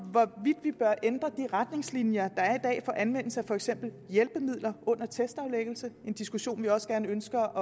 så er ændre de retningslinjer der er i dag for anvendelse af for eksempel hjælpemidler under testaflæggelse en diskussion vi også gerne ønsker